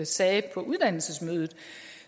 sagde på uddannelsesmødet